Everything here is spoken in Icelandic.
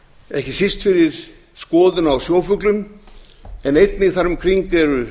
ekki síst fyrir skoðun á sjófuglum en einnig þar um kring eru